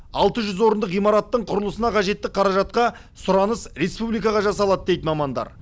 алты жүз орындық ғимараттың құрылысына қажетті қаражатқа сұраныс республикаға жасалады дейді мамандар